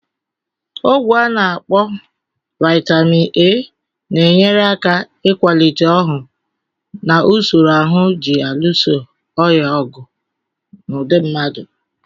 Ọgwụ. ana akpo Vaitamin A, na-enyere aka ịkwalite ọhụụ na usoro ahụ ji alụso ọrịa ọgụ na ụdi mmadụ